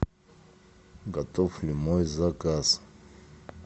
готов ли мой заказ